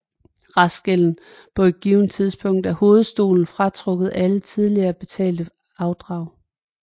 Restgælden på et givet tidspunkt er hovedstolen fratrukket alle tidligere betalte afdrag